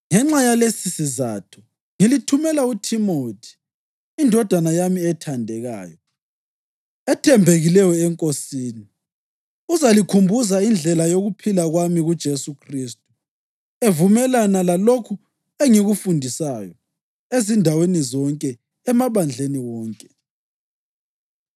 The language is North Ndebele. Ngenxa yalesisizatho, ngilithumela uThimothi, indodana yami ethandekayo, ethembekileyo eNkosini. Uzalikhumbuza indlela yokuphila kwami kuJesu Khristu, evumelana lalokho engikufundisayo ezindaweni zonke, emabandleni wonke.